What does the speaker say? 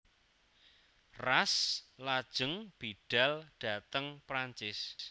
Ras lajeng bidhal dhateng Prancis